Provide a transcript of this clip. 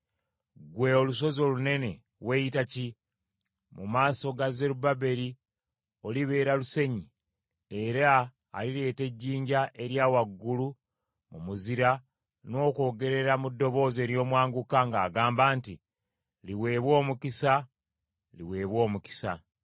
“Ggwe olusozi olunene weyita ki? Mu maaso ga Zerubbaberi olibeera lusenyi, era alireeta ejjinja erya waggulu mu mizira n’okwogerera mu ddoboozi ery’omwanguka ng’agamba nti, ‘Liweebwe omukisa, liweebwe omukisa!’ ”